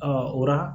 o la